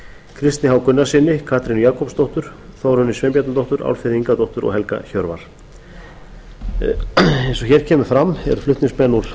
kristni h gunnarssyni katrínu jakobsdóttur þórunni sveinbjarnardóttur álfheiði ingadóttur og helga hjörvar eins og hér kemur fram eru flutningsmenn úr